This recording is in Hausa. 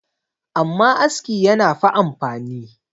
amma aski yana fa amfani